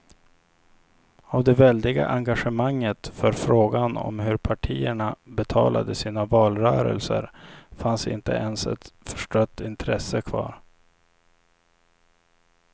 Av det väldiga engagemanget för frågan om hur partierna betalade sina valrörelser fanns inte ens ett förstrött intresse kvar.